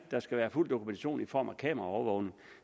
der skal være fuld dokumentation i form af kameraovervågning